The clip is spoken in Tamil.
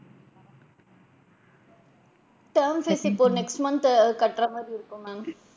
Term fees இப்போ next month த் ஆஹ் கட்டுற மாதிரி இருக்கும் ma'am.